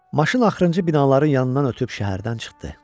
Maşın axırıncı binaların yanından ötüb şəhərdən çıxdı.